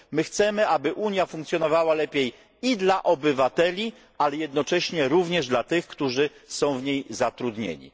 My chcemy, aby Unia funkcjonowała lepiej i dla obywateli, ale jednocześnie również dla tych, którzy są w niej zatrudnieni.